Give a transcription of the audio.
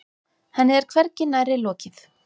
Henni er hvergi nærri lokið.